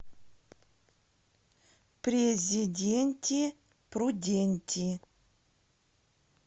президенти пруденти